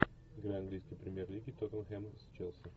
игра английской премьер лиги тоттенхэм с челси